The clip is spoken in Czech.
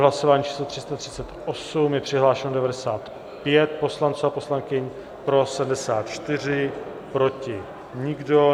Hlasování číslo 338, je přihlášeno 95 poslanců a poslankyň, pro 74, proti nikdo.